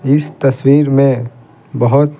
इस तस्वीर में बहुत--